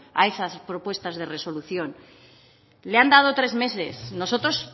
a esas propuestas de resolución le han dado tres meses nosotros